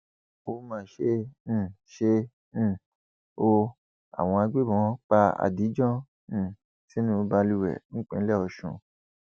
ó mà ṣe um ṣe um o àwọn agbébọn pa adijan um sínú balùwẹ nípínlẹ ọsùn